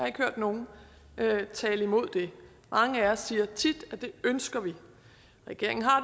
ikke hørt nogen tale imod det mange af os siger tit at det ønsker vi og regeringen har